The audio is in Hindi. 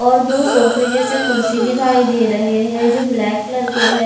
और दो सोफे जैसे कुर्सी दिखाई दे रहे है जो ब्लैक कलर के है।